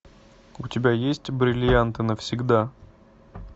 у тебя есть бриллианты навсегда